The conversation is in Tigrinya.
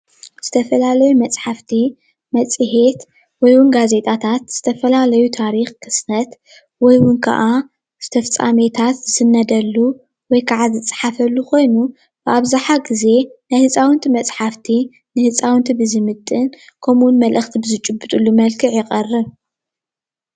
ዝተፈላለዩ መፃሓፍቲ ፣ መፄሄት ወይውን ጋዜጣታት ዝተፈላለዩ ታሪክ ክስተት ወይካዓ ፍፃሜታት ዝስነደሉ ወይካዓ ዝፃሓፈሉ ኮይኑ አብዛሓ ግዜ ናይ ህፃውንቲ መፃሕፍቲ ንህፃውንቲ ብዝምጥን ከምኡ እውን መልእክቲ ብዝጭብጡሉ መልክዕ ይቀርብ።